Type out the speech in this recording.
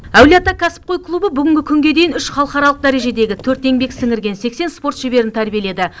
әулие ата кәсіпқой клубы бүгінгі күнге дейін үш халықаралық дәрежедегі төрт еңбек сіңірген сексен спорт шеберін тәрбиеледі